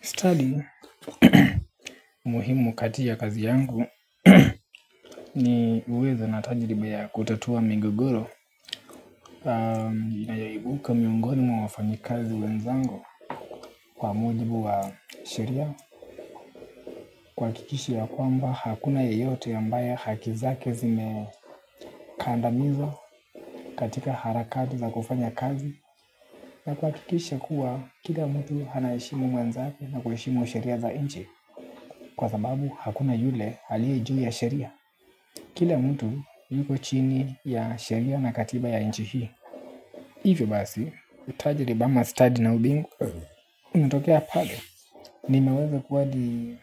Studying ni muhimu kati ya kazi yangu ni uwezo na tajriba ya kutatua migogoro. Yanayoibuka miongoni mwa wafanyikazi wenzangu kwa mujibu wa sheria. Kuhakikisha ya kwamba hakuna yeyote ambaye haki zake zime kandamizwa katika harakati za kufanya kazi. Na kuhakikisha, kila mtu anaheshimu mwenzake na kuheshimu sheria za nchi. Kwasababu, hakuna yule aliye juu ya sheria. Kila mtu yuko chini ya sheria na katiba ya nchi hii hivi basi, utaijriba ama study na ubingwa natokea pale. Nimeweze kuwa hadi